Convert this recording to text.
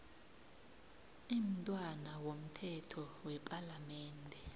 imntwana womthetho wepalamende